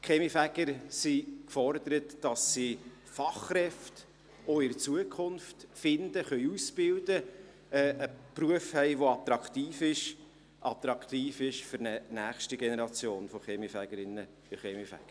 Die Kaminfeger sind gefordert, dass sie auch in Zukunft Fachkräfte finden, ausbilden können und einen Beruf haben, der attraktiv ist – attraktiv für eine nächste Generation von Kaminfegerinnen und Kaminfeger.